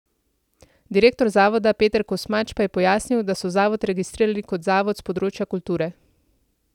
Direktor zavoda Peter Kosmač pa je pojasnil, da so zavod registrirali kot zavod s področja kulture.